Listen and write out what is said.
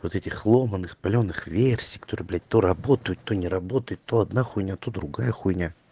вот этих ломаных палёных версий которые блять то работают то не работают то одна хуйня то другая хуйня